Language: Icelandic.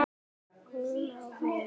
Hún á vin.